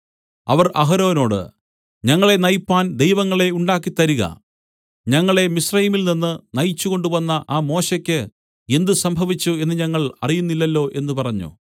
അവർ അഹരോനോട് ഞങ്ങളെ നയിപ്പാൻ ദൈവങ്ങളെ ഉണ്ടാക്കിത്തരിക ഞങ്ങളെ മിസ്രയീമിൽനിന്ന് നയിച്ചുകൊണ്ടുവന്ന ആ മോശെക്ക് എന്ത് സംഭവിച്ചു എന്ന് ഞങ്ങൾ അറിയുന്നില്ലല്ലോ എന്ന് പറഞ്ഞു